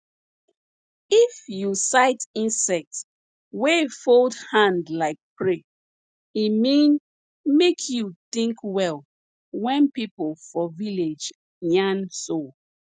if you sight insect wey fold hand like pray e mean make you think well wen people for village yarn so